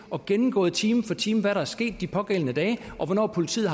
og gennemgået time for time hvad der var sket de pågældende dage hvornår politiet